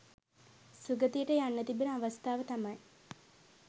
සුගතියට යන්න තිබෙන අවස්ථාව තමයි